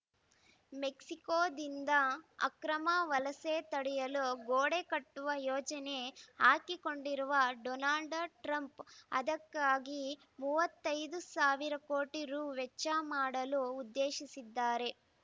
ಮೆಕ್ಸಿಕೋದಿಂದ ಅಕ್ರಮ ವಲಸೆ ತಡೆಯಲು ಗೋಡೆ ಕಟ್ಟುವ ಯೋಜನೆ ಹಾಕಿಕೊಂಡಿರುವ ಡೊನಾಲ್ಡ್‌ ಟ್ರಂಪ್‌ ಅದಕ್ಕಾಗಿ ಮೂವತ್ತೈದು ಸಾವಿರ ಕೋಟಿ ರು ವೆಚ್ಚ ಮಾಡಲು ಉದ್ದೇಶಿಸಿದ್ದಾರೆ